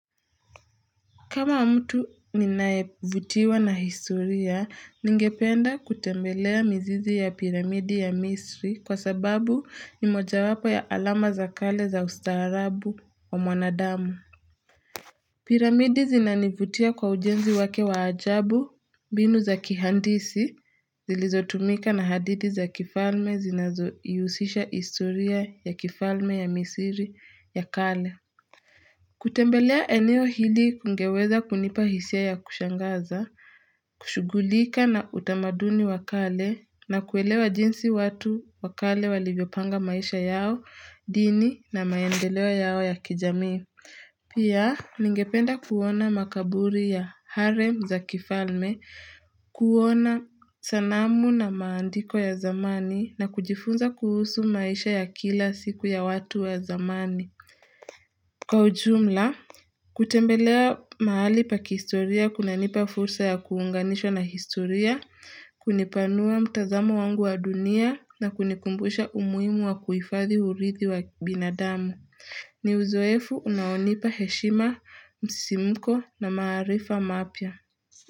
Kama mtu ninayevutiwa na historia, ningependa kutembelea mzizi ya piramidi ya misri kwa sababu ni moja wapo ya alama za kale za ustaarabu wa mwanadamu. Piramidi zinanivutia kwa ujenzi wake wa ajabu binu za kihandisi zilizotumika na hadidi za kifalme zinazoihusisha historia ya kifalme ya misiri ya kale. Kutembelea eneo hili kungeweza kunipa hisia ya kushangaza kushugulika na utamaduni wa kale na kuelewa jinsi watu wa kale walivyopanga maisha yao Dini na maendeleo yao ya kijami Pia ningependa kuona makaburi ya harem za kifalme kuona sanamu na maandiko ya zamani na kujifunza kuhusu maisha ya kila siku ya watu ya zamani Kwa ujumla, kutembelea mahali pa kihistoria kunanipa fursa ya kuunganishwa na historia, kunipanua mtazamo wangu wa dunia na kunikumbusha umuhimu wa kuhifadhi urithi wa binadamu. Ni uzoefu unaonipa heshima, msidimko na marifa mapya.